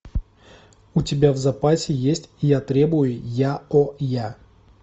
у тебя в запасе есть я требую яоя